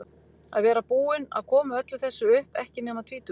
Að vera búinn að koma öllu þessu upp, ekki nema tvítugur.